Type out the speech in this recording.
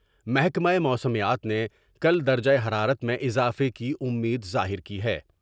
محکمہ موسمیات نے کل درجہ حرارت میں اضافہ کی امید ظاہر کی ہے ۔